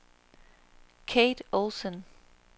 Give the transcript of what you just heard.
Kate Olsson